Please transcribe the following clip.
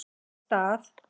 Í stað